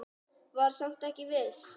Var samt ekki viss.